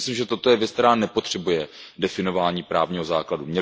Já si myslím, že toto je věc, která nepotřebuje definování právního základu.